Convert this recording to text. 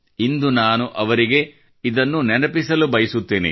ಇಂದು ನಾನು ಅವರಿಗೆ ಇದರ ಬಗ್ಗೆ ನೆನಪಿಸಲು ಬಯಸುತ್ತೇನೆ